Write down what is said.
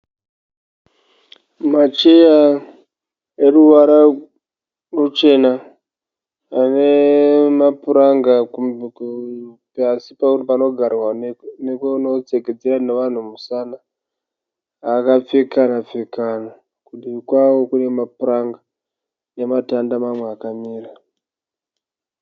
Macheya eruvara ruchena. Ane mapura nga kuzasi panogarwa nekunodzengedzera nevanhu musana. Akapfekana pfekana, kudivi kwavo kune mapuranga nematanda mamwe akamira.